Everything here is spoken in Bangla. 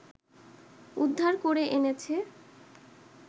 উদ্ধার করে এনেছে